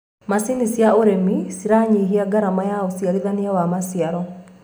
macinĩ cia ũrĩmi ciranyihia garama ya ũciarithanĩa wa maciaro